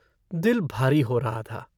दिल भारी हो रहा था।